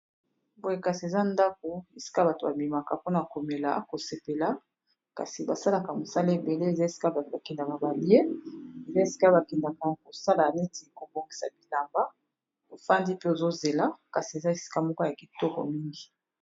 Boye kasi eza ndako esika bato babimaka mpona komela kosepela kasi basalaka mosala ebele eza esika bakendaka balie pe esika bakendaka kosala neti kobongisa bilamba ofandi mpe ozozela kasi eza esika moka ya kitoko mingi